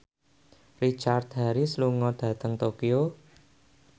Richard Harris lunga dhateng Tokyo